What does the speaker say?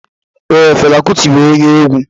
Ee, Fela Kuti bụ onye egwu.